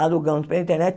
Alugamos pela internet.